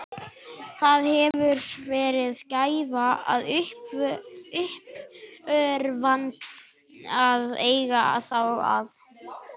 Það hefur verið gæfa og uppörvun að eiga þá að.